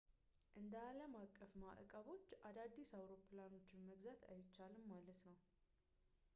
እንደ ዓለም አቀፍ ማዕቀቦች አዳዲስ አውሮፕላኖችን መግዛት አይቻልም ማለት ነው